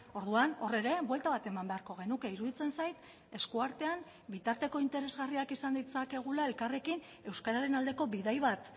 orduan hor ere buelta bat eman beharko genuke iruditzen zait eskuartean bitarteko interesgarriak izan ditzakegula elkarrekin euskararen aldeko bidai bat